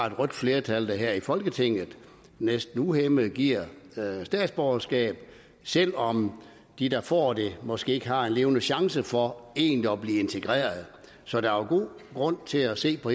et rødt flertal der her i folketinget næsten uhæmmet giver statsborgerskab selv om de der får det måske ikke har en levende chance for egentlig at blive integreret så der er god grund til at se på